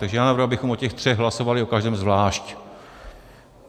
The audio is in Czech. Takže já navrhuji, abychom o těch třech hlasovali o každém zvlášť.